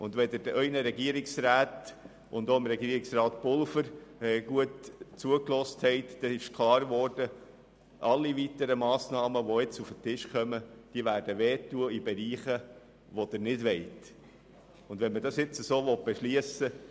Wenn Sie den Regierungsräten und auch Regierungsrat Pulver gut zugehört haben, haben Sie gemerkt, dass alle weiteren Massnahmen, die jetzt noch auf den Tisch kommen, dort schmerzen werden, wo Sie das selber nicht wollen.